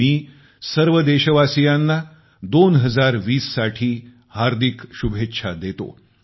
मी सर्व देशवासियांना 2020 साठी हार्दिक शुभेच्छा देतो